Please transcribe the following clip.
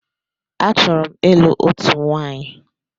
Achọrọ m ịlụ òtù nwaanyi.